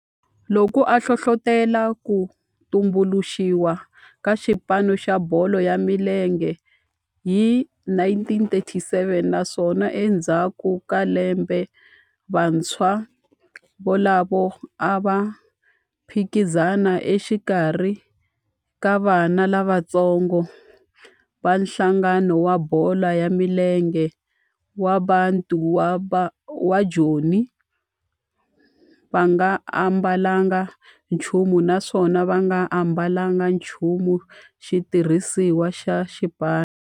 Loko a hlohlotela ku tumbuluxiwa ka xipano xa bolo ya milenge hi 1937 naswona endzhaku ka lembe vantshwa volavo a va phikizana exikarhi ka vana lavatsongo va nhlangano wa bolo ya milenge wa Bantu wa Joni va nga ambalanga nchumu naswona va nga ambalanga nchumu xitirhisiwa xa xipano.